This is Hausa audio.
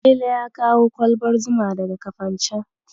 Salele ya kawo kwalbar zuma daga Kafancen.